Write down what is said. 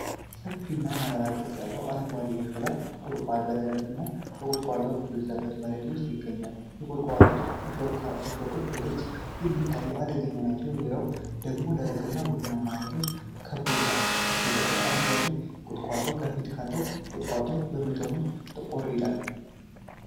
ሰፊና ሞላላ ቅርጽ ያለው አረንጓዴ የሾላ ቁልቋል በደረቅና ቁጥቋጦ በበዛበት መሬት ውስጥ ይገኛል። የቁልቋሉ እሾኾች በግልጽ የሚታዩና አደገኛ ናቸው። በዙሪያው ደግሞ ደረቅና ቡናማ ተክሎች ከበውታል። የበስተጀርባው አረንጓዴ ቁጥቋጦ ከፊት ካለው ቁልቋል በመጠኑ ጥቁር ነው።